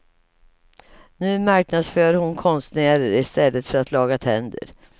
Nu marknadsför hon konstnärer i stället för att laga tänder.